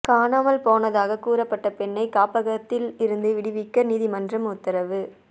காணாமல் போனதாகக் கூறப்பட்ட பெண்ணை காப்பகத்தில் இருந்து விடுவிக்க நீதிமன்றம் உத்தரவு